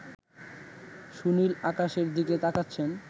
সুনীল আকাশের দিকে তাকাচ্ছেন